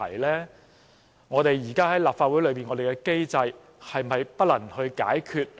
立法會現時的機制是否不能解決？